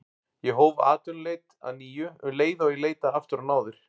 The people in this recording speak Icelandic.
Ég hóf atvinnuleit að nýju um leið og ég leitaði aftur á náðir